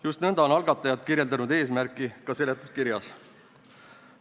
Just nõnda on algatajad kirjeldanud seda eesmärki ka seletuskirjas.